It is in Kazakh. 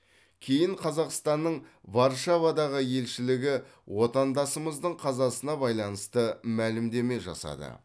кейін қазақстанның варшавадағы елшілігі отандасымыздың қазасына байланысты мәлімдеме жасады